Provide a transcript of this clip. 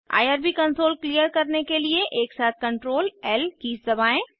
IRB console clear करने के लिए एकसाथ Ctrl ल कीज़ दबाएं